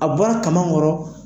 A bɔra kaman kɔrɔ,